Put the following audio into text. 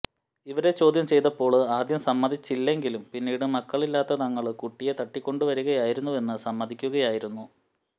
ഇവരെ ചോദ്യം ചെയ്തപ്പോള് ആദ്യം സമ്മതിച്ചില്ലെങ്കിലും പിന്നീട് മക്കളില്ലാത്ത തങ്ങള് കുട്ടിയെ തട്ടിക്കൊണ്ടുവരികയായിരുന്നുവെന്ന് സമ്മതിക്കുകയായിരുന്നു